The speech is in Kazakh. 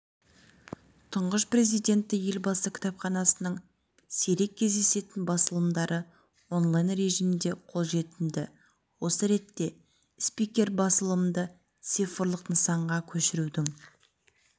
тұңғыш президенті елбасы кітапханасының сирек кездесетін басылымдары онлайн-режимде қолжетімді осы ретте спикер басылымды цифрлық нысанға көшірудің